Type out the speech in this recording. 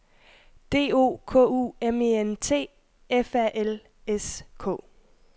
D O K U M E N T F A L S K